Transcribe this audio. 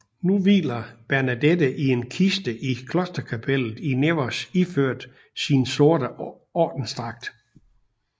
Nu hviler Bernadette i en kiste i klosterkapellet i Nevers iført sin sorte ordensdragt